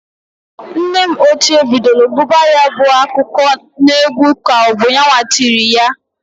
Nne ochie bidolu guba ya bụ akụkọ n'egwu k'ọbụ yanwa tiri ya.